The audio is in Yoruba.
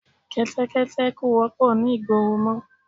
Kẹ́tẹ́kẹ́tẹ́ kò wọ́pọ̀ ni ìgboro mọ